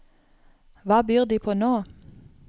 Hva byr de på nå?